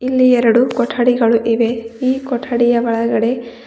ಇಲ್ಲಿ ಎರಡು ಕೊಠಡಿಗಳು ಇವೆ ಈ ಕೊಠಡಿಯ ಒಳಗಡೆ --